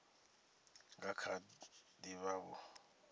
nga kha ḓi vha vho